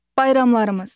Bayramlarımız.